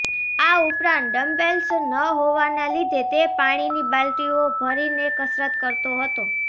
આ ઉપરાંત ડંબેલ્સ ન હોવાના લીધે તે પાણીની બાલટીઓ ભરીને કસરત કરતો હતો